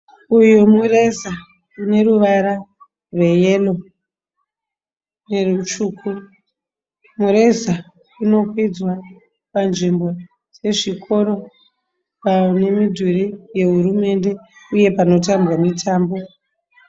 Uyu mureza une ruvara rweyero nerutsvuku. Mureza unokwidzwa panzvimbo yezvikoro, pane midhuri yehurumende uye panotambwa mitambo.